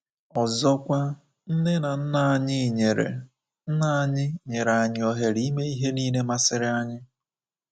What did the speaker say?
Ọzọkwa, nne na nna anyị nyere nna anyị nyere anyị ohere ime ihe nile masịrị anyị.